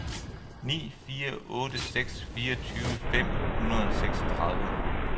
ni fire otte seks fireogtyve fem hundrede og seksogtredive